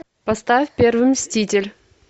поставь первый мститель